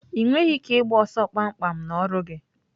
Ị nweghị ike ịgba ọsọ kpamkpam n'ọrụ gị.